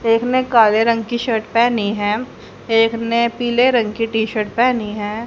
एक ने काले रंग की शर्ट पहनी है एक ने पीले रंग की टी शर्ट पहनी है।